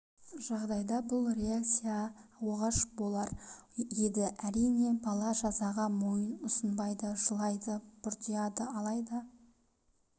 жағдайда бұл реакция оғаш болар еді әрине бала жазаға мойын ұсынбайды жылайды бұртиады алайда